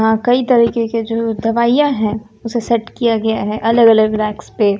यहां कई तरीके की जो दवाइयां है उसे सेट किया गया है अलग अलग रैक्स पे।